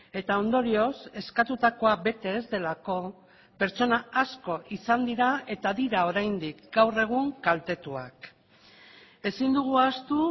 eta ondorioz eskatutakoa bete ez delako pertsona asko izan dira eta dira oraindik gaur egun kaltetuak ezin dugu ahaztu